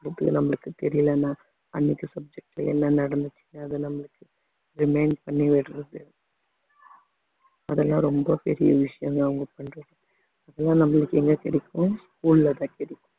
நம்மளுக்கு தெரியலண்ணா அன்னைக்கு subject ல என்ன நடந்துச்சு அது நம்மளுக்கு remain பண்ணி விடுறது அதெல்லாம் ரொம்ப பெரிய விஷயங்க அவங்க பண்றது அதெல்லாம் நம்மளுக்கு எங்க கிடைக்கும் school லதான் கிடைக்கும்